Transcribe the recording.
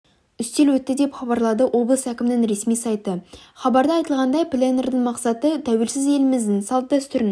үстел өтті деп хабарлады облыс әкімінің ресми сайты хабарда айтылғандай пленэрдің мақсаты тәуелсіз еліміздің салт-дәстүрін